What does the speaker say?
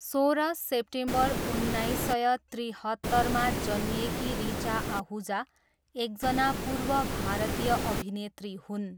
सोह्र सेप्टेम्बर उन्नाइस सय त्रिहत्तरमा जन्मिएकी ऋचा आहुजा, एकजना पूर्व भारतीय अभिनेत्री हुन्।